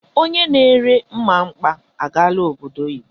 Onye na ere mmamkpa agaala obodo oyibo.